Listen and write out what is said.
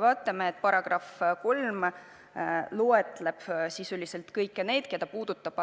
Näeme, et § 3 loetleb sisuliselt kõiki, keda eelnõu puudutab: